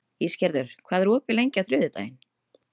Ísgerður, hvað er opið lengi á þriðjudaginn?